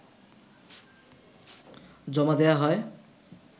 জমা দেয়া হয়